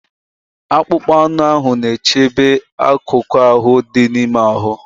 Akpụkpọ anụ ahụ na-echebe akụkụ ahụ dị n'ime ahụ.